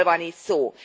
Mikről van itt szó?